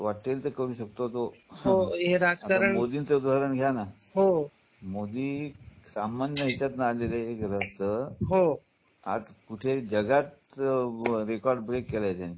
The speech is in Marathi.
वाटेल ते करू शकतो तो होते मोदींच उदाहरण घ्या ना हो मोदी सामान्य ह्यांच्यातन आलेले गृहस्थ हो आज कुठे जगात रेकॉर्ड ब्रेक केला आहे त्यांनी सगळ्याच बाबतीत.